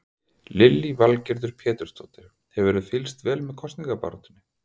Lillý Valgerður Pétursdóttir: Hefurðu fylgst vel með kosningabaráttunni?